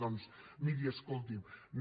doncs miri escolti’m no